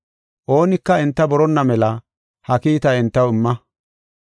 Oonika enta boronna mela ha kiitaa entaw imma.